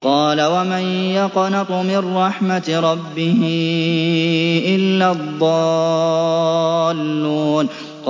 قَالَ وَمَن يَقْنَطُ مِن رَّحْمَةِ رَبِّهِ إِلَّا الضَّالُّونَ